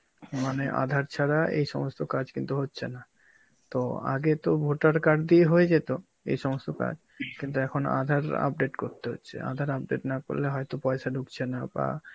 মানে আধার ছাড়া এই সমস্ত কাজ কিন্তু হচ্ছে না. তো আগে তো voter card বিয়ে হয়ে যেত এই সমস্ত কাজ, কিন্তু এখন আধার update করতে হচ্ছে. আধার update না করলে হয়তো পয়সা ঢুকছে না বা